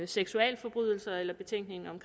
seksualforbrydelser eller betænkningen om